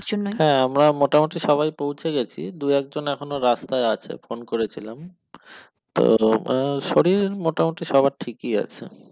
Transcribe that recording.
হ্যাঁ আমরা মোটামুটি সবাই পৌঁছে গেছি দুই একজন এখনো রাস্তায় আছে ফোন করেছিলাম তো আহ শরীর মোটামুটি সবার ঠিকই আছে।